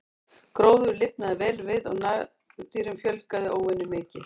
Gróður lifnaði vel við og nagdýrum fjölgaði óvenju mikið.